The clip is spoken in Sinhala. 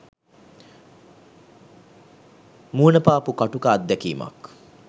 මුණ පාපු කටුක අත්දැකීමක්